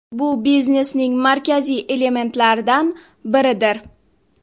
Bu biznesning markaziy elementlaridan biridir.